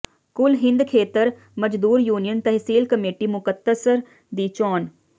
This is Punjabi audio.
ਕੁੱਲ ਹਿੰਦ ਖੇਤ ਮਜ਼ਦੂਰ ਯੂਨੀਅਨ ਤਹਿਸੀਲ ਕਮੇਟੀ ਮੁਕਤਸਰ ਦੀ ਚੋਣ